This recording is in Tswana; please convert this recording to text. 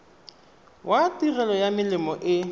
wa tirelo ya melemo e